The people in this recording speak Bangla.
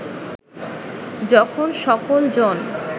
যখন সকল জন